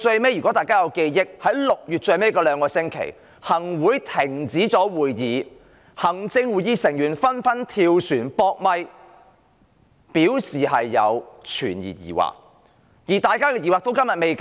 如果大家還記得 ，6 月的最後兩星期，行政會議停止開會，行政會議成員紛紛"跳船""扑咪"，對修例表示存疑，大家的疑惑至今仍然未解。